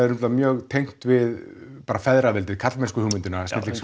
mjög tengt við feðraveldið karlmennsku og snillingshugmyndina